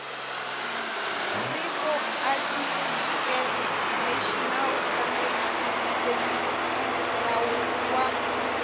pri tsoarticlenational language servicesnawu wa